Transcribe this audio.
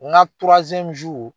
N ka